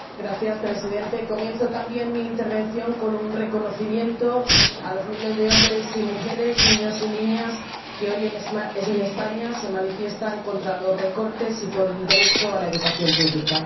Señor Presidente, comienzo también mi intervención con un reconocimiento a los miles de hombres y mujeres, niños y niñas, que hoy, en España, se manifiestan contra los recortes y por el derecho a la educación pública.